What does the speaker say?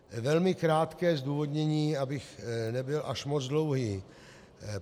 Velmi krátké zdůvodnění, abych nebyl až moc dlouhý.